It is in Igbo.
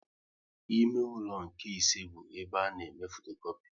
Ime ụlọ nke ise bụ ebe a na eme fotokopi